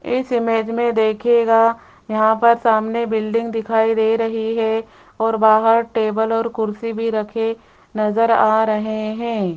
इस इमेज में देखिएगा यहां पर सामने बिल्डिंग दिखाई दे रही है और बाहर टेबल और कुर्सी भी रखे नजर आ रहे हैं।